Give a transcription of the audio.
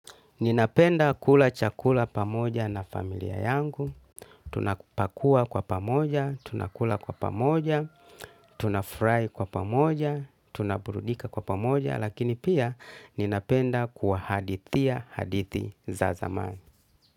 Ninapenda kula chakula pamoja na familia yangu. Tunapakua kwa pamoja, tunakula kwa pamoja, tunafrai kwa pamoja, tunaburudika kwa pamoja, lakini pia ninapenda kwa hadithia hadithi za zamani.